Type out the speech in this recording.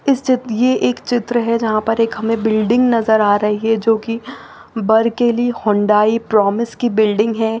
ये एक चित्र है जहा पर एक हमे बिल्डिंग नज़र आ रही है जो की बर्क के लीये हुंडई प्रॉमिस की बिल्डिंग है।